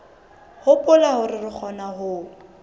hopola hore re kgona ho